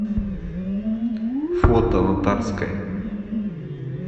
фото на тарской